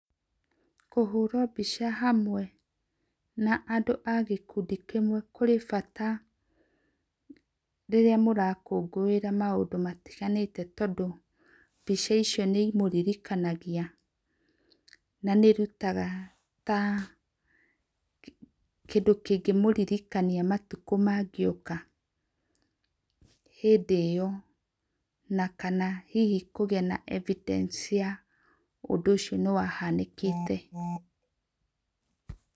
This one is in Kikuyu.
Kũhũrwo mbĩca hamwe na andũ a gĩkũndĩ kĩmwe, kũrĩ bata rĩrĩa mũrakũngũĩra maũndũ matĩganĩte tondũ, mbĩca icio nĩ ĩmũrĩrĩ kanagĩa, na nĩ ĩrũtaga ta kĩndũ kĩngĩ mũrĩrĩkanĩa matukũ mangĩ oka hĩndĩ ĩyo na kana hĩhĩ kũgĩa evidence ya ũndũ ũcio nĩwahanĩkĩte.